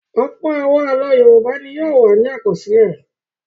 Ọ̀pọ̀ àwọn àlọ́ Yorùbá ni yóò wà ní àkọsílẹ̀.